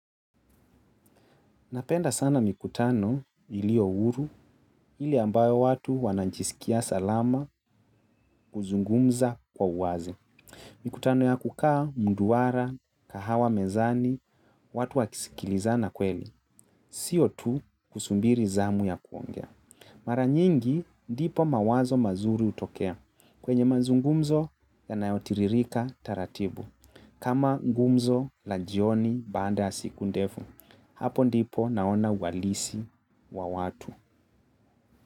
Napenda sana mikutano iliyo uhuru ile ambayo watu wanajisikia salama kuzungumza kwa uwazi. Mikutano ya kukaa mduara, kahawa mezani, watu wakisikilizana kweli. Sio tu kusubiri zamu ya kuongea. Mara nyingi ndipo mawazo mazuri hutokea kwenye mazungumzo yanayotiririka taratibu. Kama ngumzo la jioni baada ya siku ndefu. Hapo ndipo naona uhalisi wa watu.